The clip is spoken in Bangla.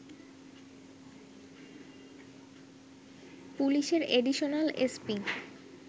পুলিশের অ্যাডিশনাল এসপি